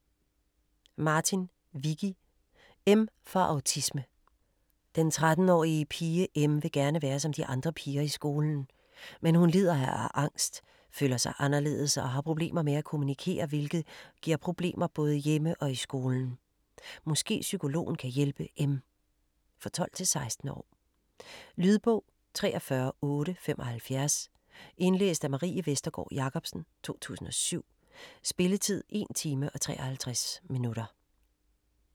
Martin, Vicky: M for autisme Den 13-årige pige "M" vil gerne være som de andre piger i skolen. Men hun lider af angst, føler sig anderledes og har problemer med at kommunikere, hvilket giver problemer både hjemme og i skolen. Måske psykologen kan hjælpe M? For 12-16 år. Lydbog 43875 Indlæst af Marie Vestergård Jacobsen, 2017. Spilletid: 1 time, 53 minutter.